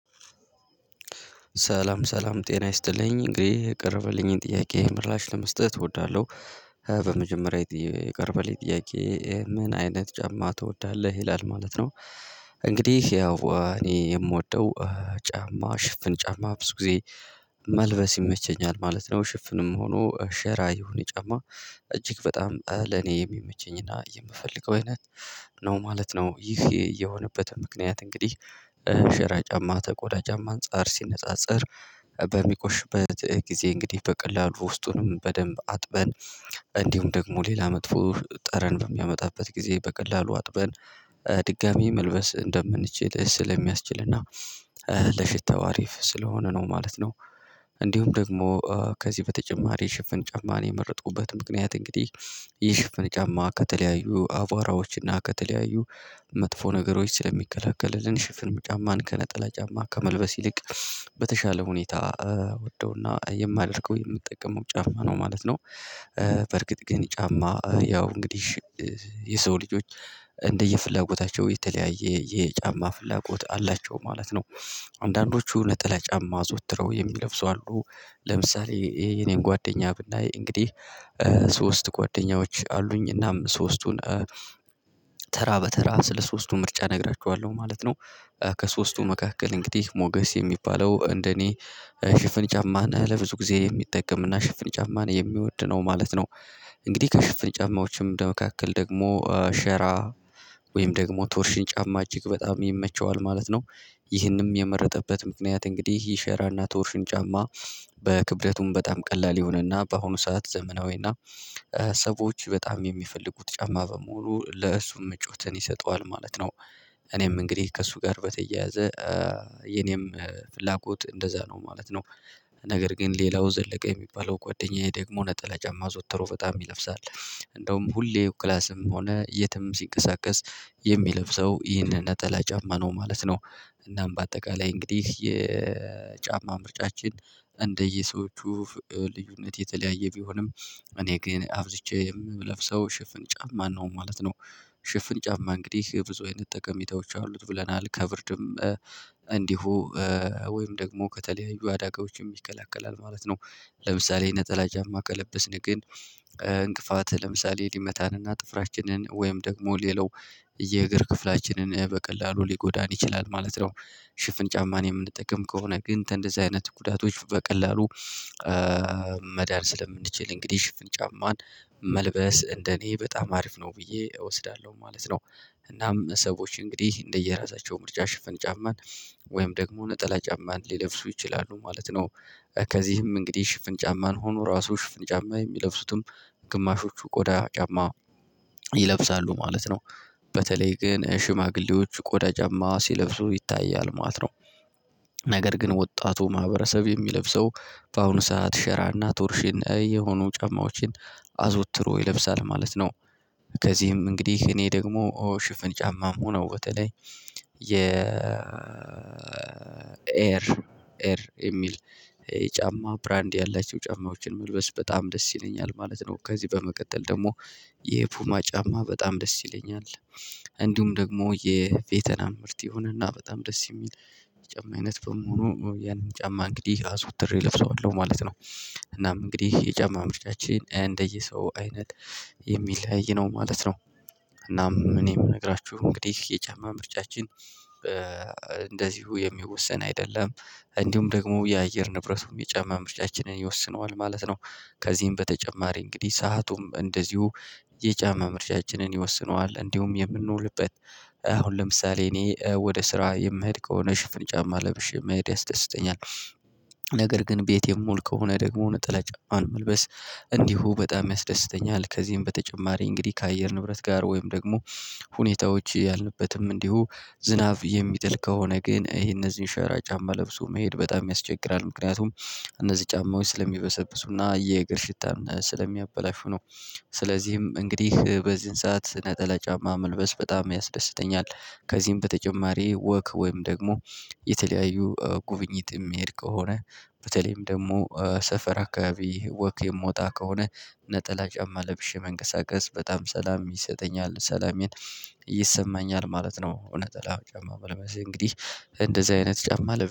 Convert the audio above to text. ሰላም ሰላም ጤና ይስጥልኝ እንግዲህ የቀረበልኝን ጥያቄ ምላሽ ለመስጠት እወዳለሁ። የቀረበልኝ ጥያቄ ምን አይነት ጫማ ትወዳለህ ይላል ማለት ነው? እንግዲህ ያው እኔ የምወደው ጫማ ሽፍን ጫማ ብዙ ጊዜ መልበስ ይመቸኛል ማለት ነው። ሽፍንም ሆኖ ሼራ ይሁን የጫማ እጅግ በጣም አለ እኔ የሚመቸኝና የምፈልገው አይነት ነው ማለት ነው። ይህ የሆነበት ምክንያት እንግዲህ ጅ ሼራ ጫማ ተቆዳ ጫማ አንፃር ሲነጻጸር። በሚቆሽበት ጊዜ እንግዲህ በቀላሉ ውስጡንም በደንብ አጥበን እንዲሁም ደግሞ ሌላ መጥፎ ጠረን በሚያመጣበት ጊዜ በቀላሉ አጥበን ድጋሚ መልበስ እንደምንችል ስለሚያስችልና ለሽታው አሪፍ ስለሆነ ነው ማለት ነው። እንዲሁም ደግሞ በተጨማሪ ሽፍን ጫማን የመረጥኩበት ምክንያት እንግዲህ ይህ ሽፍን ጫማ ከተለያዩ አቧራዎችና ከተለያዩ መጥፎ ነገሮች ስለሚከላከልልን ሽፍን ጫማን ከነጠላ ጫማ ከመልበስ ይልቅ በተሻለ ሁኔታ ምወደውና የማደርገው የምጠቀመው ጫማ ነው ማለት ነው። በርግጥ ግን ጫማ ያው እንግዲህ የሰው ልጆች እንደየፍላጎታቸው የተለያየ የጫማ ፍላጎት አላቸው ማለት ነው። አንዳንዶቹ ነጠለ ጫማ አዘውትረው የሚለብሱ አሉ። ለምሳሌ የኔን ጓደኛ ብናይ እንግዲህ ሶስት ጓደኞች አሉኝ እናም ሶስቱን በተራ ስለ ሶስቱ ምርጫ እነግራችኋለሁ ማለት ነው። ከሶስቱ መካከል እንግዲህ ሞገስ የሚባለው እንደኔ ሽፍን ጫማን ለብዙ ጊዜ የሚጠቀምና ሽፍን ጫማን የሚወድ ነው ማለት ነው። እንግዲህ ከሽፍን ጫማዎችም ለመካከል ደግሞ ሸራ ወይም ደግሞ ቶርሽን ጫማ እጅግ በጣም ይመቸዋል ማለት ነው። ይህንም የመረጠበት ምክንያት እንግዲህ ይህ ሸራና ቶርሽን ጫማ በክብደቱም በጣም ቀላል ይሆናልና በአሁኑ ሰዓት ዘመናዊና ሰዎች በጣም የሚፈልጉት ጫማ በመሆኑ ለእሱ መጫወትን ይሰጠዋል ማለት ነው። እኔም እንግዲህ ከእሱ ጋር በተያያዘ የኔም ፍላጎት እንደዛ ነው ማለት ነው። ነገር ግን ሌላው ዘለቀ የሚባለው ጓደኛዬ ደግሞ ነጠለ ጫማ አዘወተሮ በጣም ይለብሳል እንደውም ሁሌው ክላስም ሆነ የትም ሲንቀሳቀስ የሚለብሰው ይህንን ነጠላ ጫማ ነው ማለት ነው። እናም በአጠቃላይ እንግዲህ የጫማ ምርጫችን እንደየሰዎቹ ልዩነት የተለያየ ቢሆንም እኔ ግን አብዝቼ የምለብሰው ሽፍን ጫፍማ ነው ማለት ነው። ሽፍን ጫማ እንግዲህ ብዙ አይነት ጠቀሜታወች አሉት ብለናል ከብርድም እንዲሁ ወይም ደግሞ ከተለያዩ አዳጋዎች ይከላከላል ማለት ነው። ለምሳሌ ነጠላ ጫማ ከለበስን ግን እንቅፋት ለምሳሌ ሊመታንንና ጥፍራችንን ወይም ደግሞ ሌላው የእግር ክፍላችንን በቀላሉ ሊጎዳን ይችላል ማለት ነው። ሽፍን ጫማን የምንጠቀም ከሆነ ግን እንደዚህ አይነት ጉዳቶች በቀላሉ ስለምንችል እንግዲህ ሽፍን ጫማን መልበስ እንደኔ በጣም አሪፍ ነው ብዬ እወስዳለሁ ማለት ነው። እናም ሰዎች እንግዲህ እንደየራሳቸው ምርጫ ሽፍን ጫማን ወይም ደግሞ ነጠላ ጫማን ሊለብሱ ይችላሉ ማለት ነው። ከዚህም እንግዲህ ሽፍን ጫማን ሆኖ ራሱ ሽፍን ጫማ የሚለብሱትም ግማሾቹ ቆዳ ጫማ ይለብሳሉ ማለት ነው። በተለይ ግን ሽማግሌዎች ቆዳ ጫማ ሲለብሱ ይታያል ማለት ነው። ነገር ግን ወጣቱ ማህበረሰብ የሚለብሰው በአሁኑ ሰዓት ሸራና ቶርሽን የሆኑ ጫማዎችን አዘወትሮ ይለብሳል ማለት ነው። ከዚህም እንግዲህ እኔ ደግሞ ሽፍን ጫማ ሆኖ በተለይ የ ኤር ኤር የሚል የጫማ ብራንድ ያላቸው ጫማዎችን መልበስ በጣም ደስ ይለኛል ማለት ነው። ከዚህ በመቀጠል ደግሞ የፑማ ጫማ በጣም ደስ ይለኛል። እንዲሁም ደግሞ የቬተናም ምርት የሆነና በጣም ደስ የሚል የጫማ አይነት በመሆኑ ያንን ጫማ እንግዲህ አዙትሬ እለብሰዋለሁ ማለት ነው። እናም እንግዲህ የጫማ ምርጫችን እንደየሰው አይነት የሚለይ ነው ማለት ነው። እናም እኔ የምነግራችሁ እንግዲህ የጫማ ምርጫችን እንደዚሁ የሚወሰን አይደለም እንዲሁም ደግሞ የአየር ንብረቱም የጫማ ምርጫችንን ይወስነዋል ማለት ነው። ከዚህም በተጨማሪ እንግዲህ ሰአቱም እንደዚሁ የጫማ ምርጫችንን ይወስነዋል እንዲሁም የምንውልበት አሁን ለምሳሌ እኔ ወደ ስራ የምሄድ ከሆነ ሽፍን ጫማ ለብሼ መሄድ ያስደስተኛል። ነገር ግን ቤቴን ምውል ከሆነ ደግሞ ነጠላ ጫማን መልበስ እንዲሁ በጣም ያስደስተኛል። ከዚህም በተጨማሪ እንግዲህ ከአየር ንብረት ጋር ወይም ደግሞ ሁኔታዎች ያልንበትም እንዲሁ ዝናብ የሚጥል ከሆነ ግን ይሄ እነዚህን ሸራ ጫማ ለብሶ መሄድ በጣም ያስቸግራል ምክንያቱም እነዚህ ጫማዎች ስለሚበሰብሱና የእግር ሽታን ስለሚያበላሹ ነው። ስለዚህም እንግዲህ በዚህን ሰዓት ነጠላ ጫማ መልበስ በጣም ያስደስተኛል። ከዚህም በተጨማሪ ወክ ወይም ደግሞ የተለያዩ ጉብኝት የሚሄድ ከሆነ በተለይም ደግሞ ሰፈር አካባቢ ወክ የምወጣ ከሆነ ነጠላ ጫማ ለብሼ መንቀሳቀስ በጣም ሰላም ይሰጠኛል ሰላሜን ይሰማኛል ማለት ነው። እውነት እንግዲህ እንደዚህ አይነት ጫማ ለብዙ